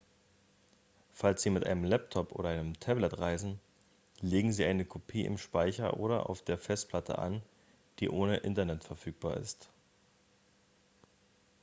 falls sie mit einem laptop oder einem tablet reisen legen sie eine kopie im speicher oder auf der festplatte an die ohne internet verfügbar ist